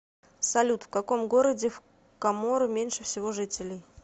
салют в каком городе в коморы меньше всего жителей